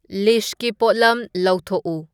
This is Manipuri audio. ꯂꯤꯁꯀꯤ ꯄꯣꯠꯂꯝ ꯂꯧꯊꯣꯛꯎ